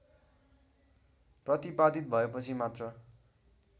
प्रतिपादित भएपछि मात्र